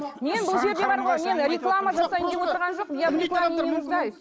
мен бұл жерде бар ғой мен реклама жасайын деп отырған жоқпын я в рекламе не нуждаюсь